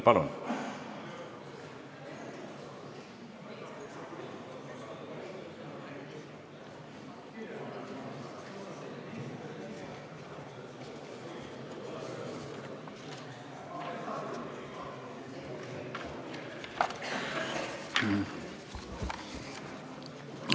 Palun!